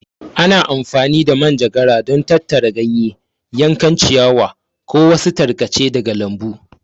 Ana amfani da manjagara don tattara ganye, yankan ciyawa, ko wasu tarkace daga lambu.